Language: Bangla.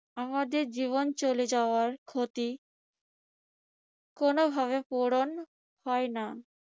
আমাদের জীবন চলে যাওয়ার ক্ষতি কোনভাবে পূরণ হয় না।